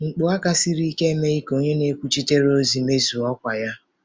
Mkpu aka siri ike emeghị ka onye na-ekwuchitere ozi mezue ọkwa ya.